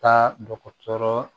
Taa dɔgɔtɔrɔ